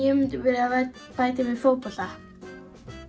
ég myndi vilja bæta mig í fótbolta